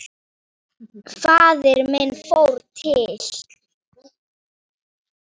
Faðir minn fór til